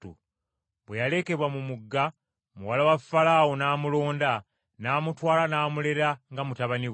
Bwe yalekebwa mu mugga, muwala wa Falaawo n’amulonda n’amutwala n’amulera nga mutabani we.